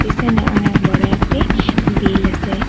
পিসনে অনেক বড় একটি বিল আসে।